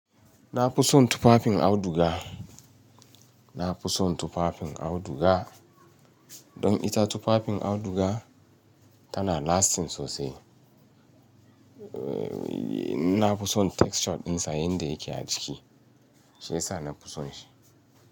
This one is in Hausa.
Na fi son tufafin auduga. Na fi son tufafin auduga. Don ita tufafin auduga tana lasting sosai. Eh, na fi son texture ɗinsa yanda yake a ciki. Shi ya sa na fi son shi.